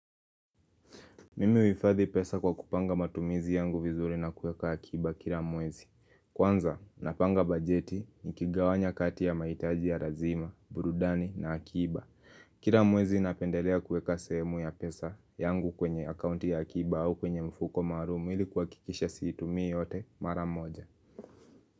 Mimi huifadhi pesa kwa kupanga matumizi yangu vizuri na kueka akiba kila mwezi. Kwanza, napanga bajeti nikigawanya kati ya mahitaji ya lazima, burudani na akiba. Kila mwezi napendelea kueka sehemu ya pesa yangu kwenye akaunti ya akiba au kwenye mfuko maalumu ili kuhakikisha siitumii yote mara moja.